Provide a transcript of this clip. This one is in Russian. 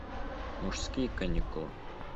мужские каникулы